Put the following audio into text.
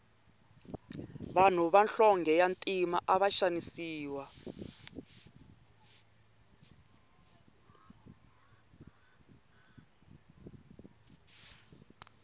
vanhu va nhlonge ya ntima ava xanisiwa